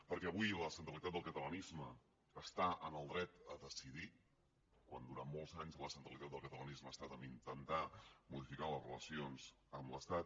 perquè avui la centralitat del catalanisme està en el dret a decidir quan durant molts anys la centralitat del catalanisme ha estat a intentar modificar les relacions amb l’estat